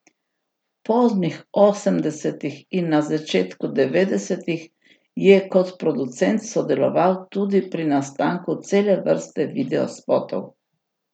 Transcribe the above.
V poznih osemdesetih in na začetku devetdesetih je kot producent sodeloval tudi pri nastanku cele vrste videospotov.